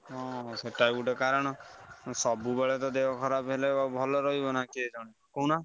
ହଁ ସେଟା ଗୋଟେ କାରଣ ଆଉ ସବୁବେଳେ ତ ଦେହ ଖରାପ ହେଲେ ଭଲ ରହିବନା ସିଏ କହୁନା?